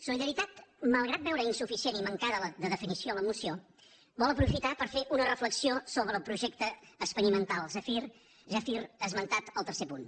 solidaritat malgrat veure insuficient i mancada de definició la moció vol aprofitar per fer una reflexió sobre el projecte experimental zèfir esmentat al tercer punt